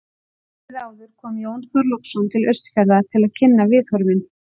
Árið áður kom Jón Þorláksson til Austfjarða til að kynna viðhorfin.